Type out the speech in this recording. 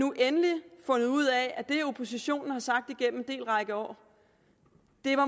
endelig fundet ud af at det oppositionen har sagt gennem en række år